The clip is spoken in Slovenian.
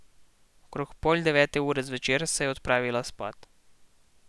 Okrog pol devete ure zvečer se je odpravila spat.